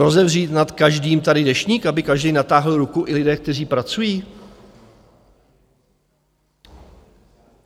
Rozevřít nad každým tady deštník, aby každý natáhl ruku, i lidé, kteří pracují?